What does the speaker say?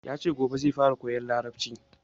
Yace gobe zai fara koyan larabci